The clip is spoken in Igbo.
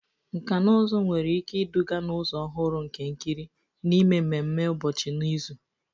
Nkà na ụzụ nwere ike iduga n'ụzọ ọhụrụ nke ikiri na ime ememe ụbọchị n'izu.